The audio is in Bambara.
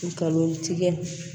Galon tigɛ